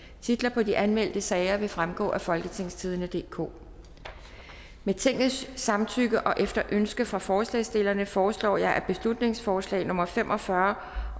titlerne på de anmeldte sager vil fremgå af folketingstidende DK med tingets samtykke og efter ønske fra forslagsstillerne foreslår jeg at beslutningsforslag nummer b fem og fyrre